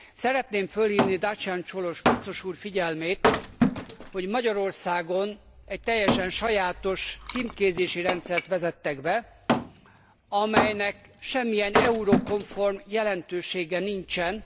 Szeretném fölhívni Dacian Cioloş biztos úr figyelmét, hogy Magyarországon egy teljesen sajátos címkézési rendszert vezettek be, amelynek semmilyen eurokomform jelentősége nincsen.